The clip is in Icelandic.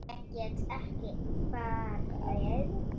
Ég get ekki farið.